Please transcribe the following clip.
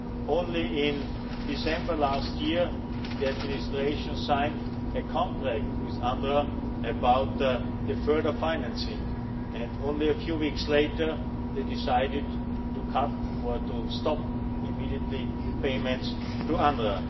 Only in December last year, the administration signed a contract with UNRWA about further financing and only a few weeks later they decided to cut or to stop immediately payments to UNRWA.